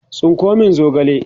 tsinko min zogale!